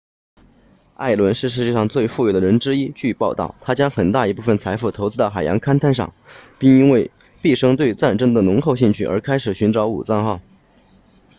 艾伦是世界上最富有的人之一据报道他将很大一部分财富投资到海洋勘探上并因为毕生对战争的浓厚兴趣而开始寻找武藏号